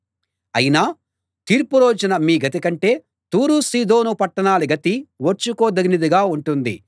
అయినా తీర్పు రోజున మీ గతి కంటే తూరు సీదోను పట్టణాల గతి ఓర్చుకోదగినదిగా ఉంటుంది